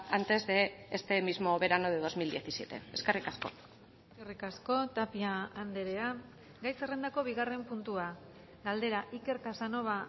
antes de este mismo verano de dos mil diecisiete eskerrik asko eskerrik asko tapia andrea gai zerrendako bigarren puntua galdera iker casanova